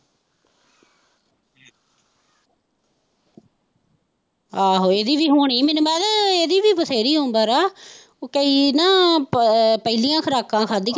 ਆਹੋ ਇਦੀ ਵੀ ਹੋਣੀ, ਮੈਨੂੰ ਲੱਗਦਾ ਇਦੀ ਵੀ ਬਥੇਰੀ ਉਮਰ ਆ ਕਈ ਨਾ ਪਹਿਲੀਆਂ ਖੁਰਾਕਾਂ ਖਾਧੀਆਂ ਨਾ।